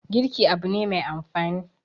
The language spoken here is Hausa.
girki Abu na Mai amfani